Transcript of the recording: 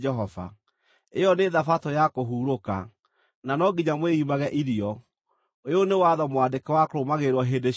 Ĩyo nĩ Thabatũ ya kũhurũka, na no nginya mwĩimage irio; ũyũ nĩ watho mwandĩke wa kũrũmagĩrĩrwo hĩndĩ ciothe.